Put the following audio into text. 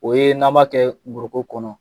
O ye n'an b'a kɛ ngoroko kɔnɔ